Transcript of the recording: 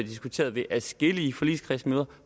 diskuteret ved adskillige forligskredsmøder